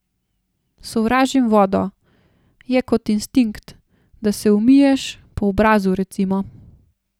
Sovražim vodo, je kot instinkt, da se umiješ, po obrazu, recimo.